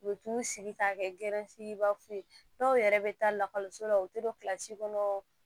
U bɛ t'u sigi k'a kɛ ye dɔw yɛrɛ bɛ taa lakɔliso la u tɛ don kilasi kɔnɔ